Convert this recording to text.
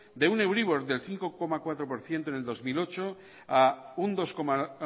de un euribor del cinco coma cuatro por ciento en el dos mil ocho a un dos coma